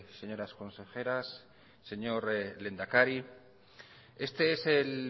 señoras consejeras señor lehendakari este es el